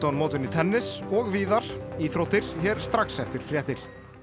mótinu í tennis og víðar íþróttir hér strax eftir fréttir